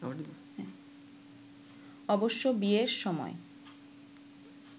অবশ্য বিয়ের সময়